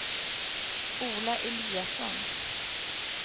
Ola Eliasson